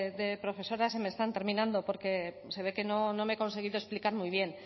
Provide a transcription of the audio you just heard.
de profesoras se me están terminando porque se ve que no me he conseguido explicar muy bien